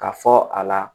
Ka fɔ a la